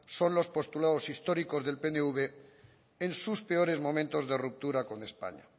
son los postulados históricos del pnv en sus peores momentos de ruptura con españa